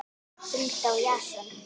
Hulda og Jason.